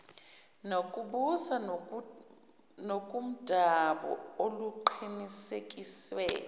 nokubusa ngokomdabu oluqinisekiswe